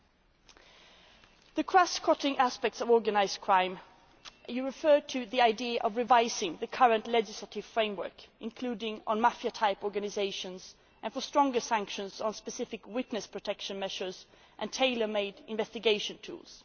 With regard to the cross cutting aspects of organised crime, you referred to the idea of revising the current legislative framework, including on mafia type organisations, and for stronger sanctions, specific witness protection measures and tailor made investigation